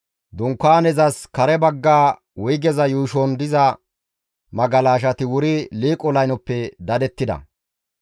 Dunkaanezas kare bagga wuygeza yuushon diza magalashati wuri liiqo laynoppe dadettida.